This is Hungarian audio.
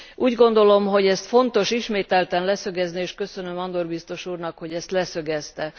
Úgy gondolom, hogy ezt fontos ismételten leszögezni, és köszönöm Andor biztos úrnak, hogy ezt leszögezte.